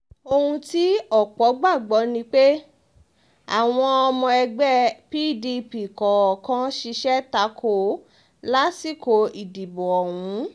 ohun tí ọ̀pọ̀ gbàgbọ ni pé àwọn ọomọ pdp kọ̀ọ̀kan ta kò ó laṣìkò ìdìbò ọ̀hún